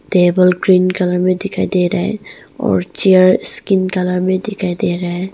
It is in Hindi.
टेबल ग्रीन कलर में दिखाई दे रहा है और चेयर्स स्किन कलर में दिखाई दे रहा है।